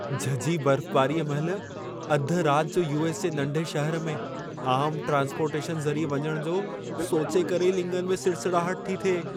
झझी बर्फबारीअ महिल अधि राति जो यू.एस. जे नंढे शहर में, आम ट्रान्सपोर्टेशन ज़रिए वञण जो सोचे करे ई लिङनि में सिसड़ाहट थी थिए।